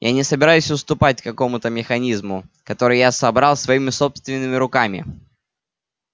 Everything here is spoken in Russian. я не собираюсь уступать какому-то механизму который я собрал своими собственными руками